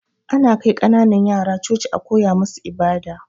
Ana kai kananan yara Coci a koya musu ibada